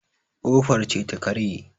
kofar ce ta karye